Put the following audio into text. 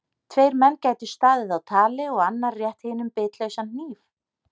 Tveir menn gætu staðið á tali og annar rétt hinum bitlausan hníf.